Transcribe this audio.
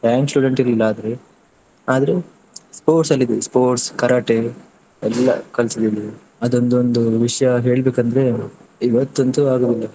Rank student ಇರ್ಲಿಲ್ಲ ಆದ್ರೆ, ಆದ್ರೆ sports ಅಲ್ಲಿ ಇದ್ದದ್ದು sports Karate ಎಲ್ಲಾ ಕಲ್ತಿದೀನಿ. ಅದು ಒಂದೊಂದು ವಿಷಯ ಹೇಳ್ಬೇಕ್ ಅಂದ್ರೆ ಇವತ್ತಂತೂ ಆಗುದಿಲ್ಲ.